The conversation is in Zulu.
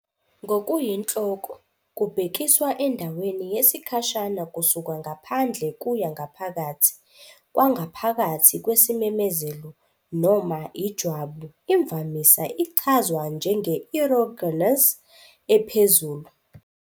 Ngokuyinhloko, kubhekiswa endaweni yesikhashana kusuka ngaphandle kuya ngaphakathi kwangaphakathi kwesimemezelo, noma ijwabu. Imvamisa ichazwa njenge- erogenous ephezulu.